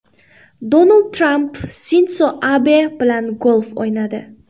Donald Tramp Sindzo Abe bilan golf o‘ynadi.